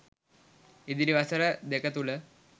ඉදිරි වසර දෙක තුළ